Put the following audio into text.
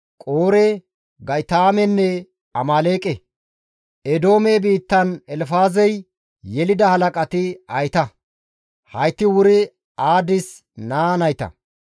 Qoore, Ga7itaamenne Amaaleeqe; Eedoome biittan Elfaazey yelida halaqati hayta; hayti wuri Aadis naa nayta.